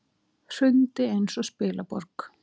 Hrundi eins og spilaborg.